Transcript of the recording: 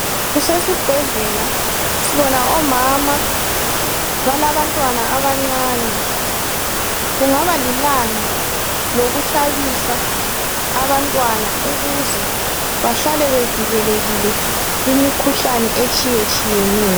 Kusesibhedlela, sibona omama balabantwana abancane kungaba lilanga lokuhlabisa abantwana ukuze bahlale bevikelekile kumikhuhlane etshiyetshiyeneyo.